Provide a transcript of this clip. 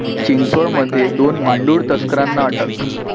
चिंचवडमध्ये दोन मांडूळ तस्करांना अटक